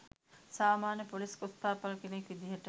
සාමාන්‍ය ‍පොලිස් කොස්තාපල් කෙනෙක් විදිහට